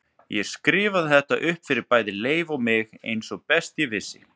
Ég skrifaði þetta upp fyrir bæði Leif og mig eins og best ég vissi.